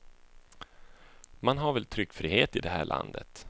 Man har väl tryckfrihet i det här landet.